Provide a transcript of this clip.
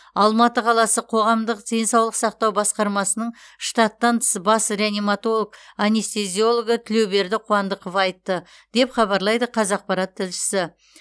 алматы қаласы қоғамдық денсаулық сақтау басқармасының штаттан тыс бас реаниматолог анестезиологы тілеуберді қуандықов айтты деп хабарлайды қазақпарат тілшісі